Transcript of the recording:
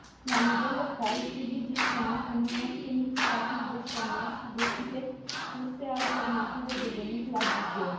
La nivel local, trebuie gestionat un număr semnificativ de șomeri și găsite surse alternative de venit la buget.